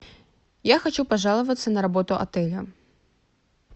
я хочу пожаловаться на работу отеля